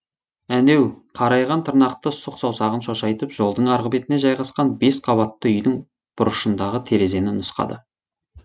әнеу қарайған тырнақты сұқ саусағын шошайтып жолдың арғы бетіне жайғасқан бес қабатты үйдің бұрышындағы терезені нұсқады